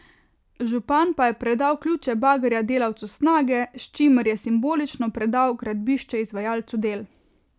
Župan pa je predal ključe bagerja delavcu Snage, s čimer je simbolično predal gradbišče izvajalcu del.